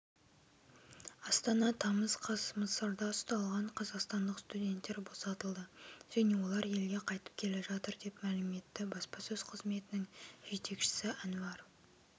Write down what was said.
астана тамыз қаз мысырда ұсталған қазақстандық студенттер босатылды және олар елге қайтып келе жатыр деп мәлім етті баспасөз қызметінің жетекшсі әнуар